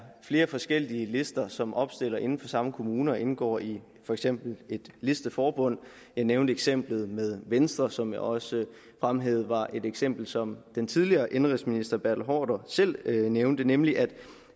flere forskellige lister som opstiller inden for samme kommune og indgår i for eksempel et listeforbund jeg nævnte eksemplet med venstre som jeg også fremhævede var et eksempel som den tidligere indenrigsminister bertel haarder selv nævnte nemlig at